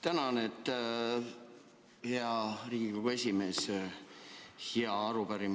Tänan, hea Riigikogu esimees!